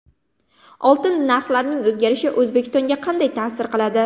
Oltin narxlarining o‘zgarishi O‘zbekistonga qanday ta’sir qiladi?